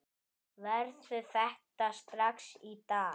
Gerðu þetta strax í dag!